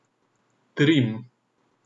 Trim.